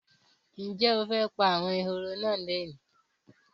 Ǹjẹ́ o fẹ́ pa àwọn ehoro náà lónìí?